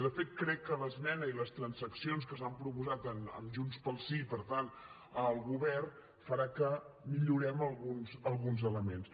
de fet crec que l’esmena i les transaccions que s’han proposat amb junts pel sí per tant el govern faran que millorem alguns elements